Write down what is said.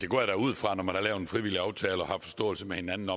går da ud fra at når man har lavet en frivillig aftale og har en forståelse med hinanden